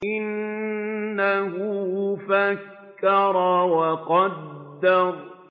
إِنَّهُ فَكَّرَ وَقَدَّرَ